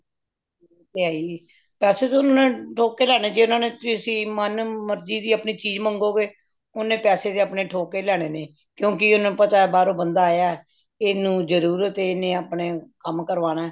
ਉਹ ਤੇ ਹਾਈਏ ਪੈਸੇ ਤੇ ਓਹਨਾ ਨੇ ਠੋਕ ਕੇ ਲੈਣੇ ਨੇ ਜੇ ਓਹਨਾ ਨੇ ਮਨ ਮਰਜੀ ਦੀ ਚੀਜ ਮੰਗੋ ਗੇ ਓਹਨੇ ਪੈਸੇ ਤੇ ਆਪਣੇ ਠੋਕ ਕੇ ਲੈਣੇ ਨੇ ਕਿਉਂਕਿ ਓਹਨਾ ਨੂੰ ਪਤਾ ਬਾਹਰੋਂ ਬੰਦਾ ਆਯਾ ਇਹਨੂੰ ਜਰੂਰਤ ਏ ਇਹਨੇ ਆਪਣਾ ਕੰਮ ਕਰਵਾਣਾ